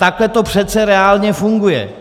Takhle to přece reálně funguje!